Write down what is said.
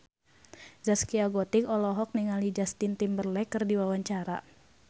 Zaskia Gotik olohok ningali Justin Timberlake keur diwawancara